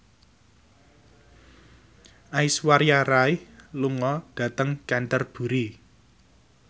Aishwarya Rai lunga dhateng Canterbury